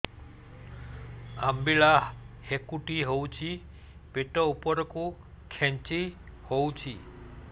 ଅମ୍ବିଳା ହେକୁଟୀ ହେଉଛି ପେଟ ଉପରକୁ ଖେଞ୍ଚି ହଉଚି